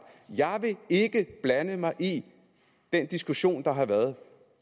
jeg vil ikke blande mig i den diskussion der har været